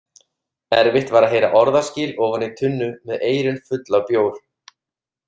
Erfitt var að heyra orðaskil ofan í tunnu með eyrun full af bjór.